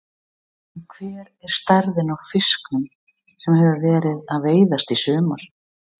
En hver er stærðin á fiskunum sem hafa verið að veiðast í sumar?